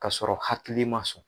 Ka sɔrɔ hakili man sɔn.